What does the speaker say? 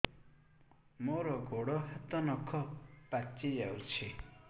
ମୋର ଗୋଡ଼ ହାତ ନଖ ପାଚି ଯାଉଛି